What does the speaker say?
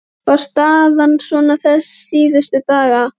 Var staðan svona þessa síðustu daga?